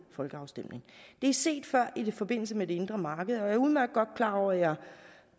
folkeafstemning det er set før i forbindelse med det indre marked og jeg er udmærket godt klar over at